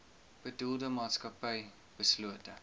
bedoelde maatskappy beslote